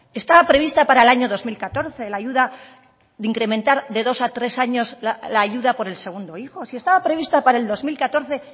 estaba prevista para el año dos mil catorce la ayuda de incrementar de dos a tres años la ayuda por el segundo hijo si estaba prevista para el dos mil catorce